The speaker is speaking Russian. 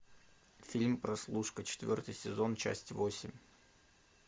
фильм прослушка четвертый сезон часть восемь